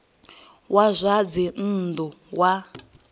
wa zwa dzinn ḓu wa